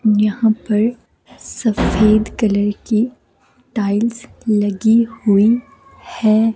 यहां पर सफेद कलर की टाइल्स लगी हुई है।